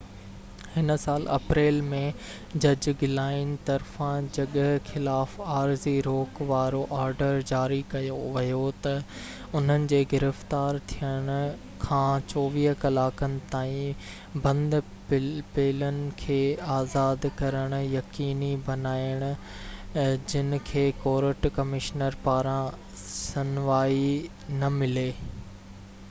هن سال اپريل ۾ جج گلائن طرفان جڳهه خلاف عارضي روڪ وارو آرڊر جاري ڪيو ويو ته انهن جي گرفتار ٿين کان 24 ڪلاڪن تائين بند پيلن کي آزاد ڪرڻ يقيني بنائن جن کي ڪورٽ ڪمشنر پاران شنوائي نه ملي